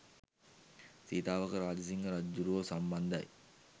සීතාවක රාජසිංහ රජ්ජුරුවෝ සම්බන්ධයි.